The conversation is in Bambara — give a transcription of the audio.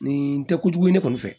Nin tɛ kojugu ye ne kɔni fɛ